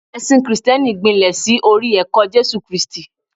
ẹsìn Kristẹni gbilẹ sí orí ẹkọ Jésù kristi